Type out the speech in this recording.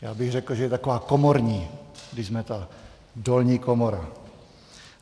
Já bych řekl, že je taková komorní, když jsme ta dolní komora.